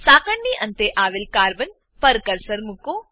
સાંકળની અંતે આવેલ carbon carbon પર કર્સર મુકો